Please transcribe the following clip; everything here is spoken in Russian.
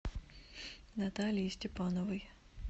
наталии степановой